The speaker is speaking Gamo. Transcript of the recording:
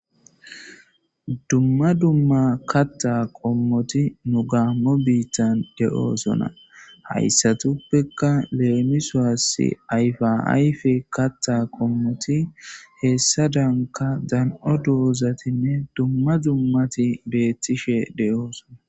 Dumma dumma kaththa qommoti nu gamo biittan de'ossona hayssattappeka lemissos ayfa ayfe kaththa qommoti hessadanka dan'o doozatinne dumma dummati betishe de'ossona.